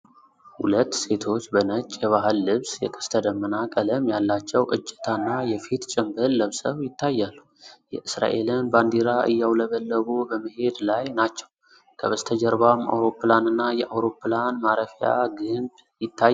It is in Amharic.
ሁለት ሴቶች በነጭ የባህል ልብስ፣ የቀስተደመና ቀለም ያላቸው እጀታና የፊት ጭምብል ለብሰው ይታያሉ። የእስራኤልን ባንዲራ እያውለበለቡ በመሄድ ላይ ናቸው፤ ከበስተጀርባም አውሮፕላንና የአውሮፕላን ማረፊያ ግንብ ይታያሉ።